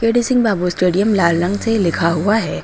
KD Singh Babu stadium लाल रंग से लिखा हुआ है।